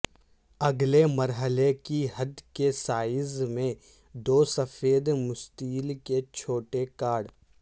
اگلے مرحلے کی حد کے سائز میں دو سفید مستطیل کے چھوٹے کاٹ